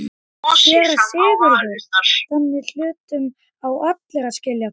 SÉRA SIGURÐUR: Þannig hlutum við allir að skilja það.